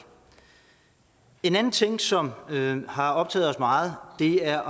en anden ting som har optaget os meget er